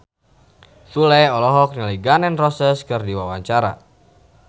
Sule olohok ningali Gun N Roses keur diwawancara